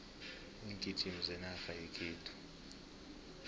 iingijimi zenarha yekhethu